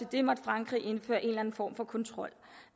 det måtte frankrig indføre en eller anden form for kontrol